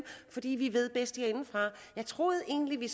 fordi vi ved bedst herinde jeg troede egentlig